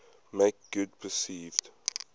make good perceived